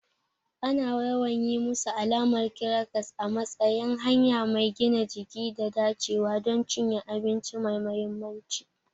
Ana yawan yi musu alamar kirakas a matsayin hanya mai gina jiki da dacewa don cinye abinci mai mahimmanci.